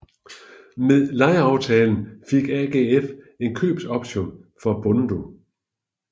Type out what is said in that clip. Med lejeaftalen fik AGF en købsoption for Bundu